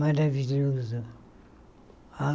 Maravilhoso.